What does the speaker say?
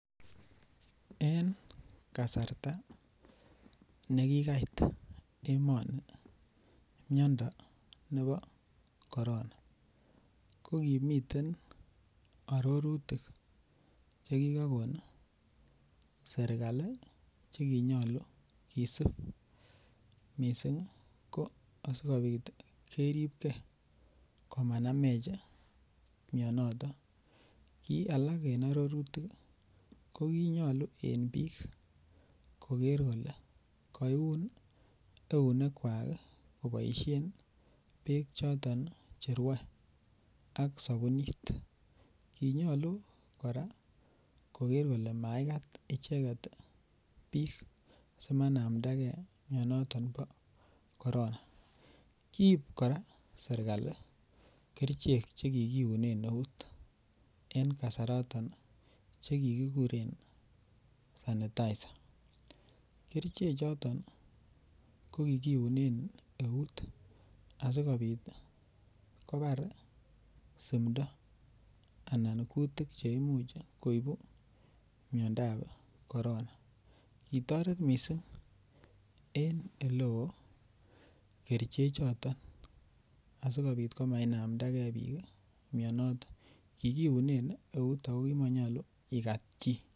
En kasarta nekikait emoni miando nebo koron a ko kimiten arorutik Che kigokon serkali Che kinyolu kisib mising ko asikobit keribge komanamech mianito ki alak en arorutik ko ki nyolu en bik koger kole kaiun eunekwak koboisien bek choton Che rwoe ak sabunit ki nyolu kora koger kole maigat icheget bik asimainamda ge mianaton bo korona kiib kora serkali kerichek Che kikiunen eut en kasaraton Che kiguren sanitaisa kerichek choton ko kikiunen eut asikobit kobar simdo anan kutik Che imuch koibu miandap korona kitoret mising en oleo kerichek choton asikobit komainamda ge bik mianaton kikiunen eut ako ki monyoluu igat chi